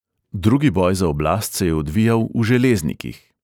Drugi boj za oblast se je odvijal v železnikih.